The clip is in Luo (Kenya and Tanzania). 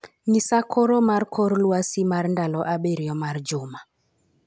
Ng'isa Koro mar kor lwasi mar ndalo abirio mar juma